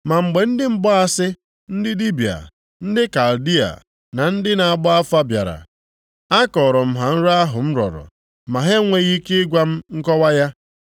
Ma mgbe ndị mgbaasị, ndị dibịa, ndị Kaldịa na ndị na-agba afa bịara, a kọọrọ + 4:7 Ezeere m ha nrọ ahụ m ha nrọ ahụ m rọrọ, ma ha enweghị ike ịgwa m nkọwa ya.